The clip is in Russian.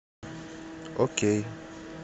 окей